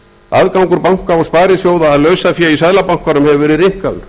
aðgangur banka og sparisjóða að lausafé í seðlabankanum hefur verið rýmkaður